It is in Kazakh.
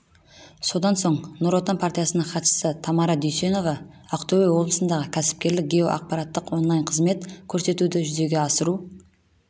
содан соң нұр отан партиясының хатшысы тамара дүйсенова ақтөбе облысындағы кәсіпкерлікке геоақпараттық онлайн-қызмет көрсетуді жүзеге асыру